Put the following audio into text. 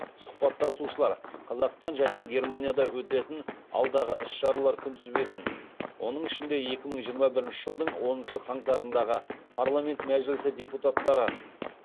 сұхбаттасушылар қазақстан және германияда өтетін алдағы іс шаралар күнтізбесін оның ішінде екі мың жиырма бірінші жылдың оныншы қаңтарындағы